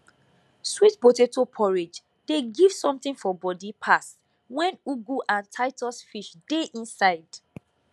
sweet potato porridge dey give something for body pass wen ugu and titus fish dey inside